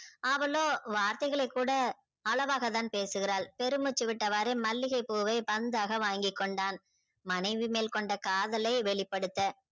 அவளோ வார்த்தைகலை கூட அளவாகதான் பேசுகிறாள் பெரும் மூச்சி விட்டவாறு மல்லிகை பூவை பந்தாக வாங்கி கொண்டான மனைவி மேல் கொண்ட காதலை வெளிப்படுத்த